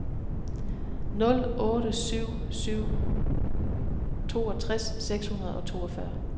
nul otte syv syv toogtres seks hundrede og toogfyrre